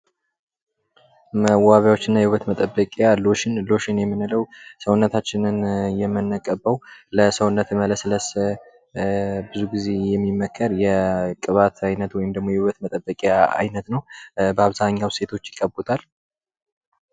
መዋቢያዎች እና የውበት መጠበቂያ ፦ ሎሽን ፦ ሎሽን የምንለው ሰውነታችንን የምንቀበው ለሰውነት መለስለስ ብዙ ጊዜ የሚመከር የቅባት አይነት ወይም ደግሞ የውበት መጠበቂያ አይነት ነው ። በአብዛኛው ሴቶች ይቀቡታል ።